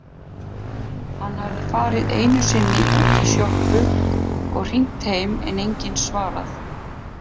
Hann hafði farið einusinni útí sjoppu og hringt heim en enginn svarað.